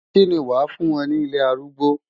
Kí ni wàá fún wọn ní ilé arúgbó?